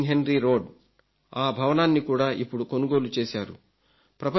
10 King Henry road ఆ భవనాన్ని కూడా ఇప్పుడు కొనుగోలు చేశారు